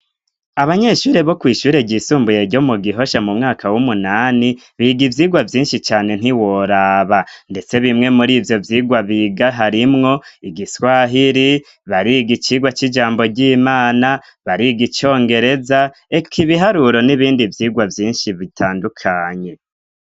Abanyeshure bo kw'ishure ryisumbuye ryo mu Gihosha mu mwaka w'umunani biga ivyigwa vyinshi cane ntiworaba ndetse bimwe muri ivyo vyigwa biga harimwo igiswahiri ,bariga icigwa c'ijambo ry'Imana ,bariga icongereza eka ibiharuro n'ibindi vyigwa vyinshi bitandukanye.